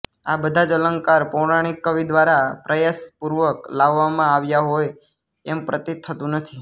આ બધા અલંકાર પૌરાણિક કવિ દ્વારા પ્રયાસપૂર્વક લાવવામાં આવ્યા હોય એમ પ્રતીત થતું નથી